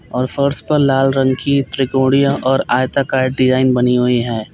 और फर्श पर लाल रंग की त्रिकोणीय और आयताकार डिजाइन बनी हुई है।